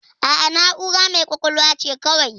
A'a, na'ura mai ƙwaƙwalwa ce kawai.